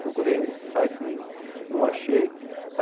Procurei nesses sites, não achei.